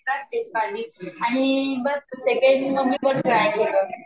आणि बघ सेकंड मी पण ट्राय केलं